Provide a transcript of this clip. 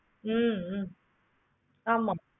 free யா அப்படி